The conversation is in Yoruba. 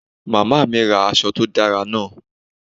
Mama mi ra aṣọ to dara naa